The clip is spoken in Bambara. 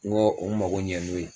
Ŋɔ u mago ɲɛ n'o ye